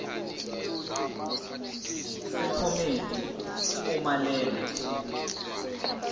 sephomedi uma lena